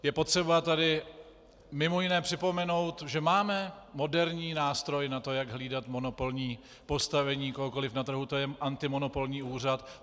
Je potřeba tady mimo jiné připomenout, že máme moderní nástroj na to, jak hlídat monopolní postavení kohokoliv na trhu, to je antimonopolní úřad.